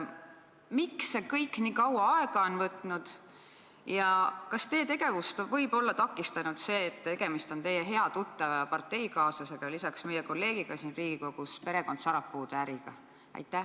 Miks see kõik nii kaua aega on võtnud ja kas teie tegevust võib olla takistanud see, et tegemist on teie hea tuttava ja parteikaaslasega, lisaks meie kolleegiga siin Riigikogus, perekond Sarapuude äriga?